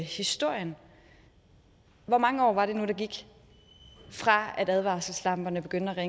historien hvor mange år var det nu der gik fra advarselslamperne begyndte at